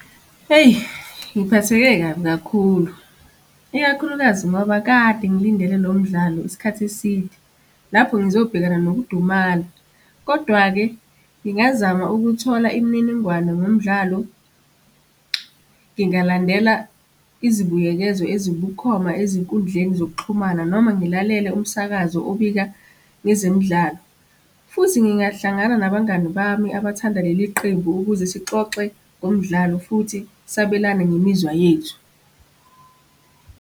Eyi, ngiphatheke kabi kakhulu, ikakhulukazi ngoba kade ngilindele lo mdlalo isikhathi eside, lapho ngizobhekana nokudumala. Kodwa-ke ngingazama ukuthola imininingwane ngomdlalo. Ngingalandela izibuyekezo ezibukhoma ezinkundleni zokuxhumana noma ngilalele umsakazo obika ezemidlalo. Futhi ngingahlangana nabangani bami abathanda leli qembu ukuze sixoxe ngomdlalo futhi sabelane ngemizwa yethu.